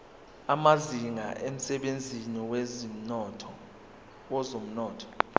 amazinga emsebenzini wezomnotho